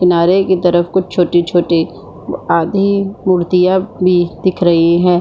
किनारे की तरफ कुछ छोटी-छोटी आदि मूर्तियाँ भी दिख रही है ।